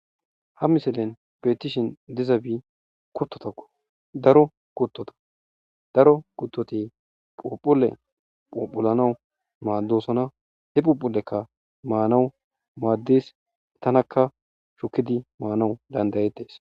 ha misellen betishin dizabi kuttotako daro kuttota daro kuttoti phophule phophulanawu maaddosona he phuphulekka maanawu maaddis tanakka shukidi maanawu dandayetees